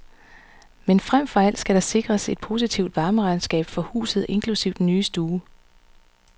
Men frem for alt skal der sikres et positivt varmeregnskab for huset inklusive den nye stue.